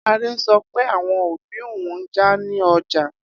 Ade so pe awon obi oun n ja ni ọgbà.